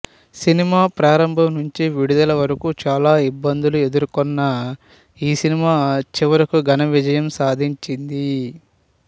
cinema ప్రారంభం నుంచి విడుదల వరకూ చాలా ఇబ్బందులు ఎదుర్కొన్న ఈ సినిమా చివరకు ఘన విజయం సాధించింది